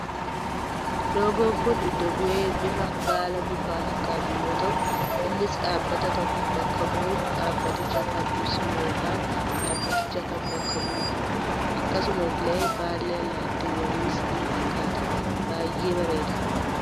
Loogoon kun iddo bu'ee bifa baala mukaa fakkatu yoo ta'u innis dhaabbata tokko bakka bu'uun dhaabbaticha kan ibsu yookaan dhaabbaticha kan bakka bu'udha. Akkasuma illee baallee allaattiiwwaniis ni fakkaata. Baayyee bareeda.